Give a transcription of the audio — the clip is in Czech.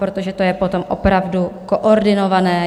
Protože to je potom opravdu koordinované.